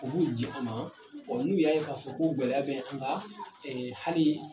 U b'u ji an ma ɔ n'u y'a ye ko gɛlɛya bɛ an kan ɛ hali